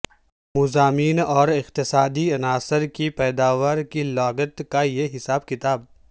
مضامین اور اقتصادی عناصر کی پیداوار کی لاگت کا یہ حساب کتاب